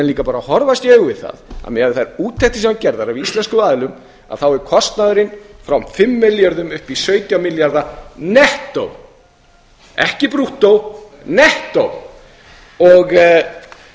menn bara horfast í augu við það að miðað við þær úttektir sem voru gerðar af íslenskum aðilum þá var kostnaðurinn frá fimm milljörðum upp í sautján milljarða nettó ekki brúttó nettó hér er